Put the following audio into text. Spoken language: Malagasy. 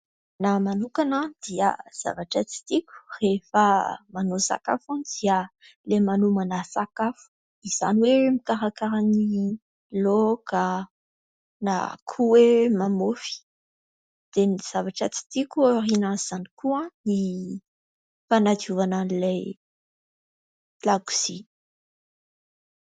Ny ahy manokana dia zavatra tsy tiako rehefa manao sakafo dia ilay manomana sakafo izany hoe mikarakara ny laoka na koa hoe mamaofy, dia ny zavatra tsy tiako aorinan' izany koa ny fanadiovana an'ilay lakozia.